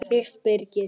Fyrst Birgir